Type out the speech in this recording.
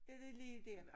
Det det lige dér